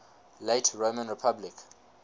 late roman republic